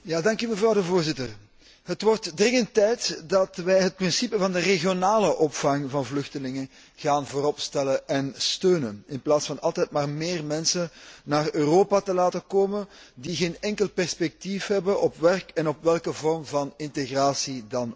Voorzitter, het wordt dringend tijd dat wij het principe van de regionale opvang van vluchtelingen voorop gaan stellen en steunen in plaats van altijd maar meer mensen naar Europa te laten komen die geen enkel perspectief hebben op werk en op welke vorm van integratie dan ook.